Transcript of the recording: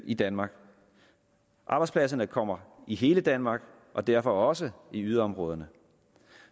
i danmark arbejdspladserne kommer i hele danmark og derfor også i yderområderne